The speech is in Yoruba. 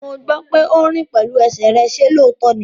Mo gbọ́ pé o rìn pẹ̀lú ẹsẹ̀ rẹ, ṣe lóòótọ́ ní?